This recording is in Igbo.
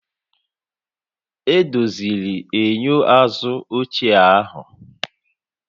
Edoziri enyo azụ ochie ahụ